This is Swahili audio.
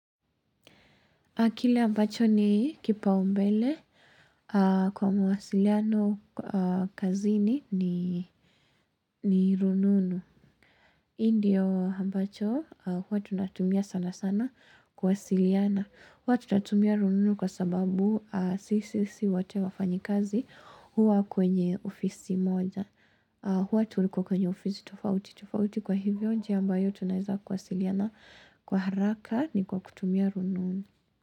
Kile ambacho ni kipaumbele kwa mawasiliano kazini ni rununu. Hii ndiyo ambacho huwa tunatumia sana sana kuwasiliana. Huwa tunatumia rununu kwa sababu sisi si wote wafanyikazi huwa kwenye ofisi moja. Huwa tuliko kwenye ofisi tofauti tofauti, kwa hivyo njia ambayo tunaweza kuwasiliana kwa haraka ni kwa kutumia rununu.